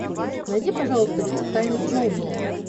найди пожалуйста фильм тайны смолвиля